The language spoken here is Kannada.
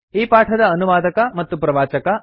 ಈ ಪಾಠದ ಅನುವಾದಕ ಮತ್ತು ಪ್ರವಾಚಕ ಐ